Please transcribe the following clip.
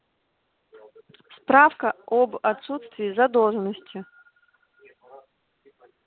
справка об отсутствии задолженности